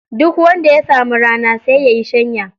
Duk wanda ya samu rana, sai ya yi shanya.